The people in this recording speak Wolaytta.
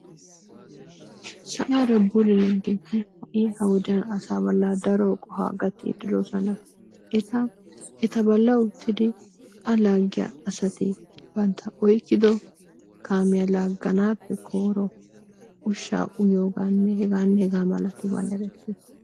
Sa'ara bululiyaa kamee ha saa bollanni daro qohuwa gaatidi de'es, ettaa ettaa bollaa uttiddi aa lagiyaa asatti banttaa oykido kamiyaa laganappe koyro ushaa uyiyogaanne heganne hega malabanni ereettessi.